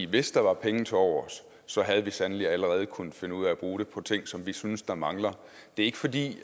hvis der var penge tilovers så havde vi sandelig allerede kunnet finde ud af at bruge dem på ting som vi synes der mangler det er ikke fordi